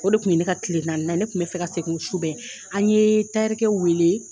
O de tun ne ka tile naaninan ye ne tun bɛ fɛ ka segin o su bɛɛ an ye wele